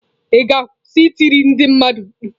Ị ga-akwụsị ị tiri ndị mmadụ mkpu?